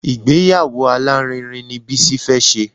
Ìgbéyàwó alárinrin ni Bísí fẹ́ ṣe